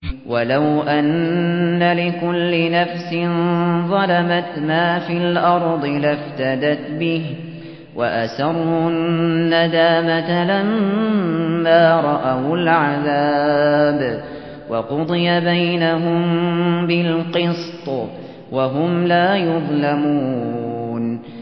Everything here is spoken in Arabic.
وَلَوْ أَنَّ لِكُلِّ نَفْسٍ ظَلَمَتْ مَا فِي الْأَرْضِ لَافْتَدَتْ بِهِ ۗ وَأَسَرُّوا النَّدَامَةَ لَمَّا رَأَوُا الْعَذَابَ ۖ وَقُضِيَ بَيْنَهُم بِالْقِسْطِ ۚ وَهُمْ لَا يُظْلَمُونَ